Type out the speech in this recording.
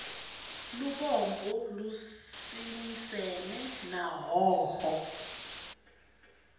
lubombo lusimisene na hhohho